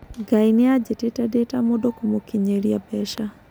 Ngai nĩ anjĩtĩte ndĩ ta mũndũ kũmũkinyĩiria mbeca.